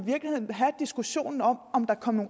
have diskussionen om om der kom